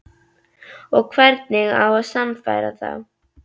Og hvernig á að sannfæra þá?